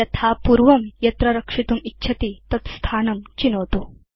यथा पूर्वं यत्र रक्षितुम् इच्छति तत् स्थानं चिनोतु